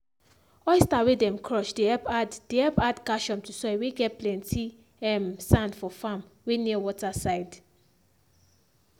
oyster whey dem crush dey help add dey help add calcium to soil whey get plenty um sand for farm whey near water side